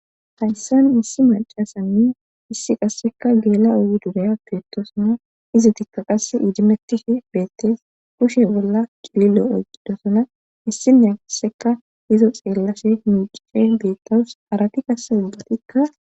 Hayssan issi macasanni issi qasseka geela ogu duraya piettosana iza tikka qasse iijimettishe beettees kushe bolla qililo oyqidosana issinne asseka izo xeellashe miicice deettawus arati qasse ubbatikka.